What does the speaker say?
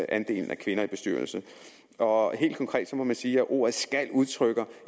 andelen af kvinder i bestyrelser og helt konkret må man sige at ordet skal udtrykker